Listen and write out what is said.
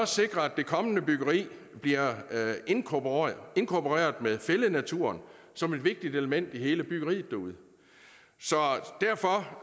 sikre at det kommende byggeri bliver indkorporeret med fællednaturen som et vigtigt element i hele byggeriet derude så derfor